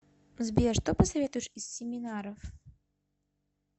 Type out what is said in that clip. сбер что посоветуешь из семинаров